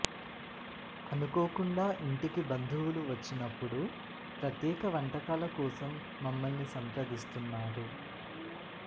అనుకోకుండా ఇంటికి బంధువులు వచ్చినప్పుడూ ప్రత్యేక వంటకాల కోసం మమ్మల్ని సంప్రదిస్తున్నారు